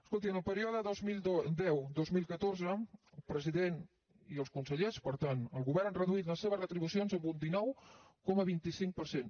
escolti en el període dos mil deu dos mil catorze el president i els consellers per tant el govern han reduït les seves retribucions en un dinou coma vint cinc per cent